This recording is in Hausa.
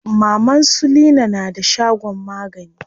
Maman su leena na da shagon magani.